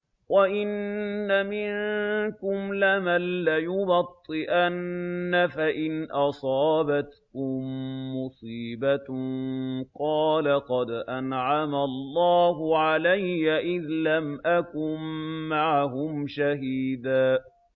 وَإِنَّ مِنكُمْ لَمَن لَّيُبَطِّئَنَّ فَإِنْ أَصَابَتْكُم مُّصِيبَةٌ قَالَ قَدْ أَنْعَمَ اللَّهُ عَلَيَّ إِذْ لَمْ أَكُن مَّعَهُمْ شَهِيدًا